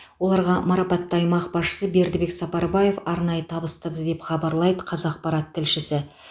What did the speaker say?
оларға марапатты аймақ басшысы бердібек сапарбаев арнайы табыстады деп хабарлайды қазақпарат тілшісі